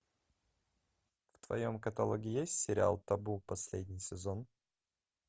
в твоем каталоге есть сериал табу последний сезон